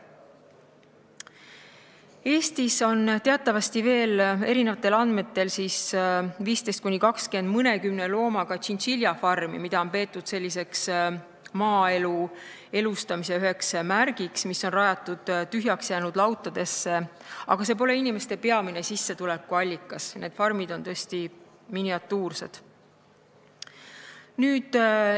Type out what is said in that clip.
Eestis on eri andmetel 15–20 mõnekümne loomaga tšintšiljafarmi, mis on rajatud tühjaks jäänud lautadesse ja mida on peetud maaelu elustamise üheks märgiks, aga see pole inimeste peamine sissetulekuallikas, need farmid on tõesti miniatuursed.